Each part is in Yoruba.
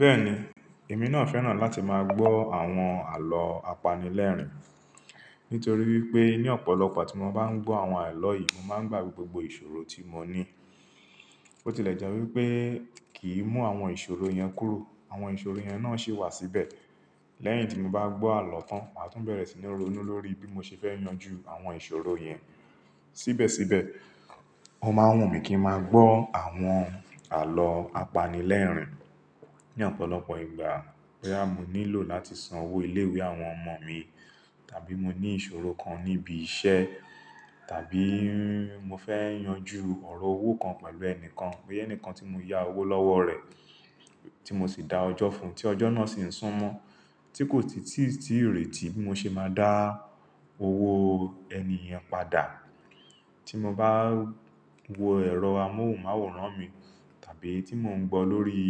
Bẹ́ẹ̀ni, èmi náà fẹ́ràn láti máa gbọ́ àwọn àlọ́ apanilẹ́rìn-ín, nítorí wípé ní ọ̀pọ̀lọpọ̀ tí mo bá ń gbọ́ àwọn àlọ́ yìí, mo máa ń gbàgbé gbogbo ìṣòro tí mo ní. Bó ti lè jẹ́ wípé kì í mú àwọn ìṣòro yẹn kúrò, àwọn ìṣòro yẹn náà ṣì wà síbẹ̀. Lẹ́yìn tí mo bá gbọ́ àlọ́ tan, màá tún bẹ̀rẹ̀ sí ní ronú lórí bí mo ṣe fẹ́ yanjú àwọn ìṣòro yẹn. Síbẹ̀síbẹ̀, o máa ń wù mí kí ń máa gbọ́ àwọn àlọ́ apanilẹ́rìn-ín ní ọ̀pọ̀lọpọ̀ ìgbà. Boya mo nílò láti san owó ilé-ìwé àwọn ọmọ mi, tàbí mo ní ìṣòro kan níbi iṣẹ́, tàbí mo fẹ́ yanjú ọ̀rọ̀ owó kan pẹ̀lú ẹni kan, ó yẹ níkan tí mo yá owó lọ́wọ́ rẹ̀ tí mo sì dá ọjọ́ fún, tí ọjọ́ náà sì ń sún mọ́ tí kò tìtí tí ìrètí mó ṣe máa dá owó ẹni yen padà. Tí mo bá wo ẹ̀rọ amóhùnmáwòrán mi, tàbí tí mò ń gbọ́ lórí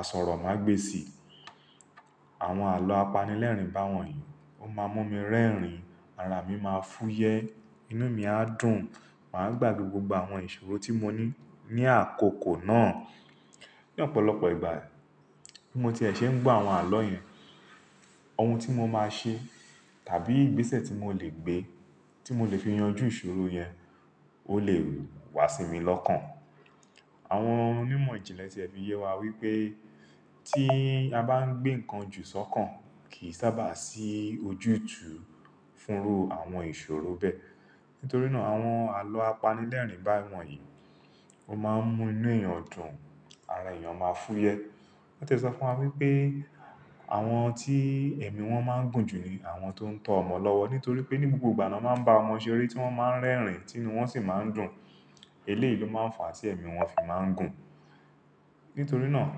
àsọ̀rọ̀mágbèsì, àwọn àlọ́ apanilẹ́rìn-ín bá wọ̀nyí, ó máa mú mi rẹ́rìn-ín, ara mi máa fúyẹ́, inú mi á dùn, màá gbàgbé gbogbo àwọn ìṣòro tí mo ní ní àkókò náà. Ní ọ̀pọ̀lọpọ̀ ìgbà bi mo ti ẹ̀ ṣe ń gbọ́ àwọn àlọ́ yẹn, ohun tí mo máa ṣe tàbí ìgbésẹ̀ tí mo lè gbé tí mo lè fi yanjú ìṣòro yẹn ó lè wá sí mi lọ́kàn. Àwọn onímọ̀ ìjìnlẹ̀ ti ẹ fi yé wá wípé tí a bá ń gbé nǹkan jù sọ́kàn kì í sábà sí ojútùú fúnrú àwọn ìṣòro bẹ́ẹ̀. Nítorí náà àwọn àlọ́ apanilẹ́rìn-ín bá wọ̀nyí, ó máa ń mú inú èèyàn dùn, ara èèyàn máa fúyẹ́. Wọ́n ti ẹ sọ fún wa wípé àwọn tí ẹ̀mí wọn máa ń gùn jù ni àwọn tó ń tọ́ ọmọ lọ́wọ́, nítorí pé ní gbogbo ìgbà ni wọ́n máa ń bá ọmọ ṣe eré tí wọ́n máa ń rẹ́rìn-ín tí inú wọn sì máa ń dùn. Eléèlo máa ń fà á tí ẹ̀mí wọn fi máa ń gùn. Nítorí náà,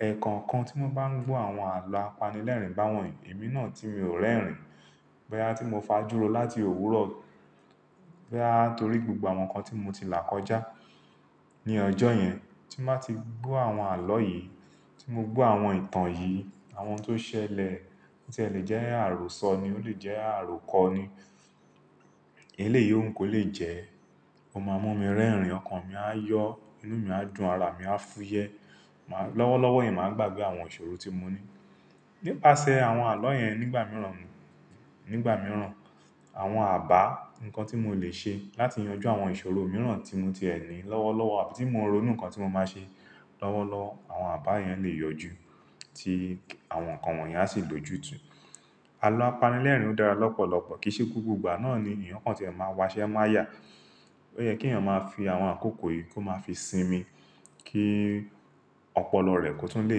ẹ̀ẹ̀kọ kan tí mo bá ń gbọ́ àwọn àlọ́ apanilẹ́rìn-ín bá wọ̀nyí, èmi náà tí mi o rẹ́rìn-ín, bóyá tí mo fa júro láti òwúrọ̀, bóyá torí gbogbo àwọn nǹkan tí mo ti là kọjá ní ọjọ́ yẹn tí mo bá ti gbọ́ àwọn àlọ́ yìí, tí mo gbọ́ àwọn ìtàn yìí, àwọn tó ṣẹlẹ̀, tí ẹ lè jẹ́ àròsọ ni, ó lè jẹ́ àrokọ ni, eléèyí òun kò lè jẹ́, ó máa mú mi rẹ́rìn-ín, ọkàn mi á yọ, inú mi á dùn, ara mi á fúyẹ́, lọ́wọ́lọ́wọ́ yẹn màá gbàgbé àwọn ìṣòro tí mo ní. Nípasẹ̀ àwọn àlọ́ yẹn nígbà mìíràn, nígbà mìíràn àwọn àbá, nǹkan tí mo lè ṣe láti yanjú àwọn ìṣòro mìíràn tí mo ti ẹ ni, lọ́wọ́lọ́wọ́ àbí tí mo ronú nǹkan tí mo máa ṣe, lọ́wọ́lọ́wọ́ àwọn àbá yẹn lè yọjú tí àwọn nǹkan wọ̀nyí á sì lòjùtù. Àlọ́ apanilẹ́rìn-ín o dára lọ́pọ̀lọpọ̀ kìí ṣe gbogbo ìgbà náà ni èèyàn kan tí ẹ máa wá ṣe mọ ayà. Ó yẹ kí èèyàn máa fi àwọn àkókò yìí kó máa fi sinmi kí ọpọlọ rẹ̀ kó tún lè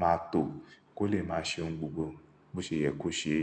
máa tó kó lè máa ṣe ohun gbogbo bó ṣe yẹ kó ṣe.